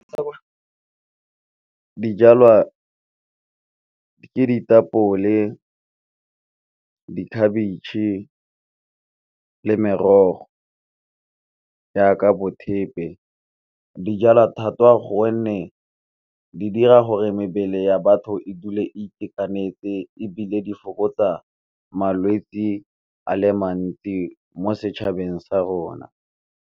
Dijalwa ke ditapole, dikhabetšhe le merogo jaaka bo thepe. Di jalwa thata gonne di dira gore mebele ya batho e dule a itekanetse, ebile di fokotsa malwetsi a le mantsi mo setšhabeng sa rona.